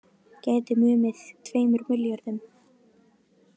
Gæti numið tveimur milljörðum